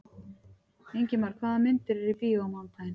Ingimar, hvaða myndir eru í bíó á mánudaginn?